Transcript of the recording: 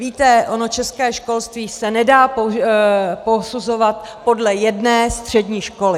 Víte, ono české školství se nedá posuzovat podle jedné střední školy.